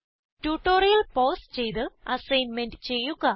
tutorial pause ചെയ്ത് assignment ചെയ്യുക